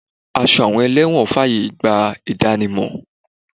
Aṣọ àwọn elẹ́wọ̀n fàyè gba ìdánimọ̀.